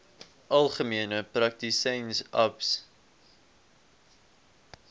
algemene praktisyns aps